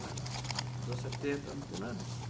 Na nos anos setenta não tinha nada disso.